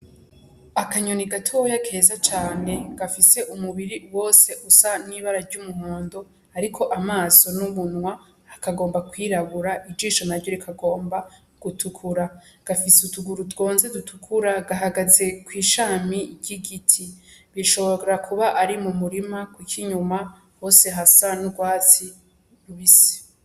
Akanyoni gatoya keza cane gafise umubiri wose usa n'ibara ry'umuhondo, ariko amaso n'umunwa hakagomba kwirabura ijisho naryo rikagomba gutukura gafise utuguru twonze dutukura, gahagaze kw'ishami ry'igiti bishobora kuba ari mu murima kuko inyuma hose hasa n'urwatsi rubisi.